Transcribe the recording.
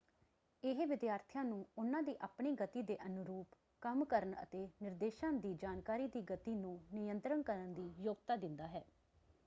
ਇਹ ਵਿਦਿਆਰਥੀਆਂ ਨੂੰ ਉਹਨਾਂ ਦੀ ਆਪਣੀ ਗਤੀ ਦੇ ਅਨੁਰੂਪ ਕੰਮ ਕਰਨ ਅਤੇ ਨਿਰਦੇਸ਼ਾਂ ਦੀ ਜਾਣਕਾਰੀ ਦੀ ਗਤੀ ਨੂੰ ਨਿਯੰਤਰਣ ਕਰਨ ਦੀ ਯੋਗਤਾ ਦਿੰਦਾ ਹੈ।